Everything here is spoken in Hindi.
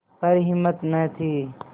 पर हिम्मत न थी